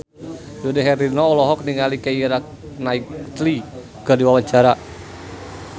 Dude Herlino olohok ningali Keira Knightley keur diwawancara